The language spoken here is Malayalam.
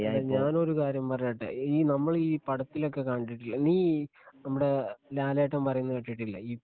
അല്ല ഞാനൊരു കാര്യം പറയട്ടെ ഈ നമ്മളീ പടത്തിലൊക്കെ കണ്ടിട്ടില്ലേ നീ ഈ നമ്മടെ ലാലേട്ടൻ പറയുന്നത് കേട്ടിട്ടില്ലേ ഈ